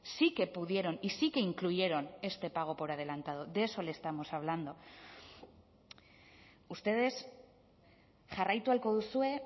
sí que pudieron y sí que incluyeron este pago por adelantado de eso le estamos hablando ustedes jarraitu ahalko duzue